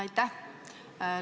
Aitäh!